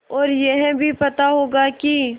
और यह भी पता होगा कि